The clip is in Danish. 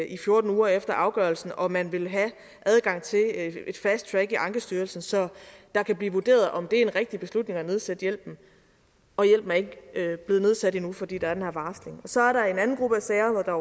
i fjorten uger efter afgørelsen og man vil have et fast track i ankestyrelsen så det kan blive vurderet om det er en rigtig beslutning at nedsætte hjælpen og hjælpen er ikke blevet nedsat endnu fordi der er den her varsling så er der en anden gruppe af sager hvor der